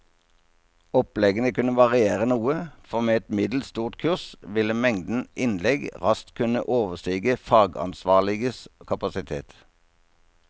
Oppleggene kunne variere noe, for med et middels stort kurs ville mengden innlegg raskt kunne overstige fagansvarliges kapasitet.